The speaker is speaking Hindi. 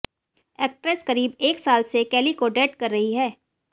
एक्ट्रेस करीब एक साल से कैली को डेट कर रही है